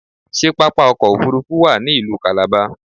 Ṣé pápá ọkọ̀ òfuurufú wà ní ìlú Calabar?